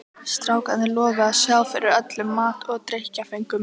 Strákarnir lofuðu að sjá fyrir öllum mat og drykkjarföngum.